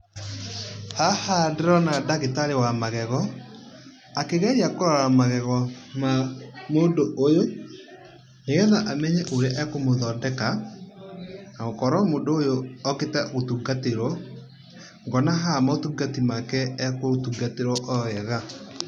Haha ndĩrona ndagitarĩ wa magego, akĩgeria kũrora magego ma mũndũ ũyũ, nĩgetha amenye ũrĩa ekũmũthondeka. Gũkorwo mũndũ ũyũ okĩte gũtungatĩrwo. Ngona haha maũtungati make agũtungatĩrwo o wega.